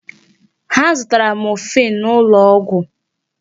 Ha zụtara morphine n'ụlọ ọgwụ.